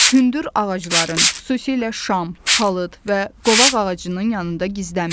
Hündür ağacların, xüsusilə şam, palıd və qovaq ağacının yanında gizlənməyin.